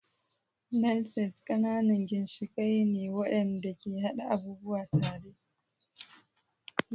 Nail Set ƙananan ginshiƙai ne waɗanda ke haɗa abubuwa tare.